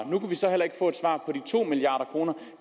og de to milliard kroner